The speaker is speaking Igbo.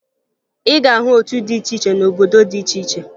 Ị ga-ahụ otu dị iche iche n'obodo dị iche iche